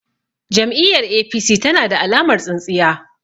Jam'iyyar APC tana da alamar tsintsiya.